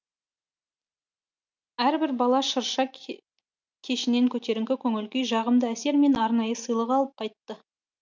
әрбір бала шырша кешінен көтеріңкі көңіл күй жағымды әсер мен арнайы сыйлық алып қайтты